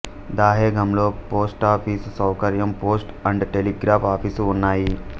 దహేగాంలో post office సౌకర్యం post and telegraph office ఉన్నాయి